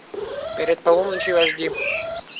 перед полуночью аш ди